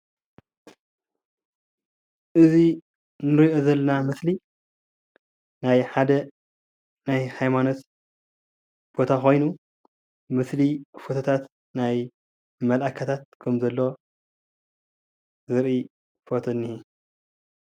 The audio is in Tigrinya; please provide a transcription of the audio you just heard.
እዚይ እንሪኦ ዘለና ምስሊ ናይ ሓደ ናይ ሃይማኖት ቦታ ኾይኑ ምስሊ ፎቶታት ናይ መላእኽቲ ኸም ዘሎ ዘርኢ ፎቶ እኒሀ።